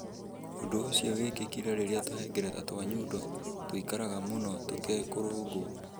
Ũndũ ũcio wekĩkire rĩrĩa tũhengereta twa nyondo tũĩkaraga mũno tũtekũrũngwo.